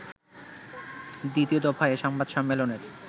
২য় দফায় এ সংবাদ সম্মেলনের